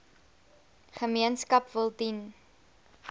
gemeenskap wil dien